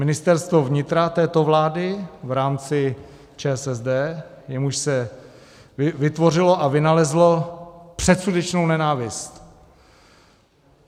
Ministerstvo vnitra této vlády v rámci ČSSD, jemuž se vytvořilo a vynalezlo předsudečnou nenávist(?).